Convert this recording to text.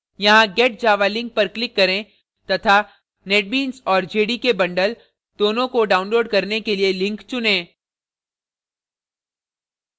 यहाँ get java link पर click करें तथा netbeans और jdk bundle दोनों को download करने के लिए link चुनें